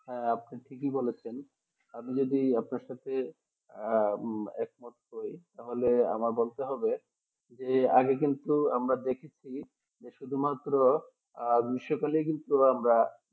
হ্যাঁ আপনি ঠিকই বলেছেন আমি যদি আপনার সাথে একমত হয় তাহলে আমার বলতে হবে যে আগে কিন্তু আমরা দেখেছি যে শুধুমাত্র আহ গ্রীষ্মকালে কিন্তু আমরা